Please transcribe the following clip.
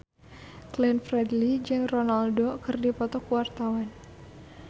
Glenn Fredly jeung Ronaldo keur dipoto ku wartawan